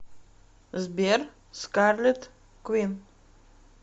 сбер скарлет квин